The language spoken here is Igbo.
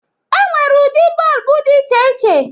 E nwere ụdị bọlbụ dị iche iche